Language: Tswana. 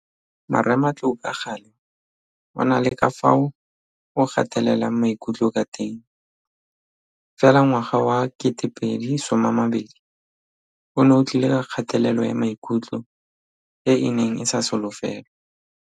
Marematlou ka gale o na le ka fao o gatelelang maikutlo ka teng, fela ngwaga wa 2020 one o tlile ka kgatelelo ya maikutlo e e neng e sa solofelwa.